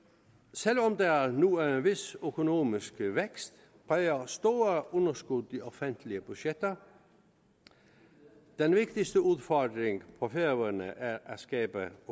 selv om der nu er en vis økonomisk vækst præger store underskud de offentlige budgetter den vigtigste udfordring på færøerne er at skabe